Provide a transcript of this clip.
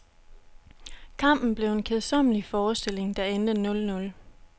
Kampen blev en kedsommelig forestilling, der endte nul-nul.